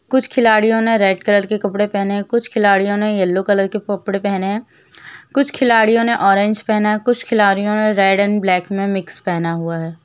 कुछ खिलाड़ियो ने रेड कलर के कपड़े पहने कुछ खिलाड़ियो ने येल्लो कलर के कपड़े पहने है। कुछ खिलाड़ियो ने ऑरेज पहना है कुछ खिलाड़ियो ने रेड एण्ड ब्लैक में मिक्स पहना हुआ है।